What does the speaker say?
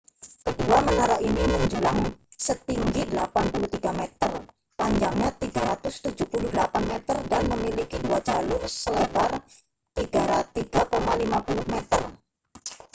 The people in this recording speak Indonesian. kedua menara ini menjulang setinggi 83 meter panjangnya 378 meter dan memiliki dua jalur selebar 3,50 m